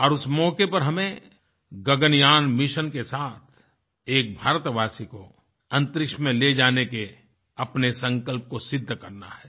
और उस मौक़े पर हमें गगनयान मिशन के साथ एक भारतवासी को अन्तरिक्ष में ले जाने के अपने संकल्प को सिद्ध करना है